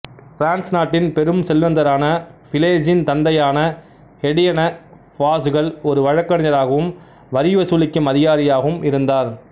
France நாட்டின் பெரும் செல்வந்தரான பிலேசின் தந்தையான எடியெனெ பாசுகல் ஒரு வழக்கறிஞராகவும் வரிவசூலிக்கும் அதிகாரியாகவும் இருந்தார்